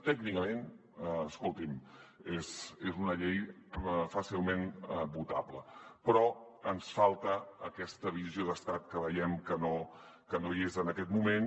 tècnicament escolti’m és una llei fàcilment votable però ens falta aquesta visió d’estat que veiem que no hi és en aquest moment